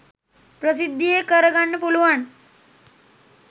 ප්‍රසිද්ධියේ කර ගන්න පුළුවන්.